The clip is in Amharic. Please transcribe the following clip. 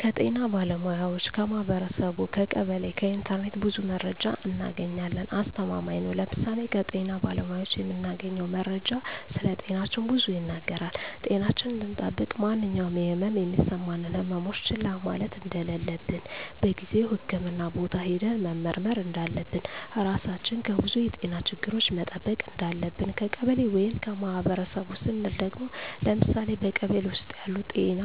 ከጤና ባለሙያዎች ,ከማህበረሰቡ , ከቀበሌ ,ከኢንተርኔት ብዙ መረጃ እናገኛለን። አስተማማኝ ነው ለምሳሌ ከጤና ባለሙያዎች የምናገኘው መረጃ ስለጤናችን ብዙ ይናገራል ጤናችን እንድጠብቅ ማንኛውም የህመም የሚሰማን ህመሞች ችላ ማለት እንደለለብን በጊዜው ህክምህና ቦታ ሄደን መመርመር እንዳለብን, ራሳችን ከብዙ የጤና ችግሮች መጠበቅ እንዳለብን። ከቀበሌ ወይም ከማህበረሰቡ ስንል ደግሞ ለምሳሌ በቀበሌ ውስጥ ያሉ ጤና